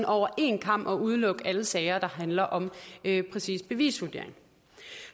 over en kam udelukker alle sager der handler om lige præcis bevisvurdering